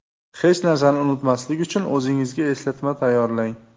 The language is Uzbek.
Hech narsani unutmaslik uchun o‘zingizga eslatma tayyorlang.